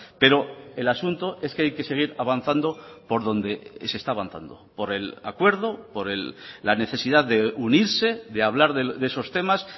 pero el asunto es que hay que seguir avanzando por donde se está avanzando por el acuerdo por la necesidad de unirse de hablar de esos temas